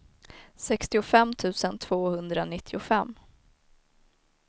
sextiofem tusen tvåhundranittiofem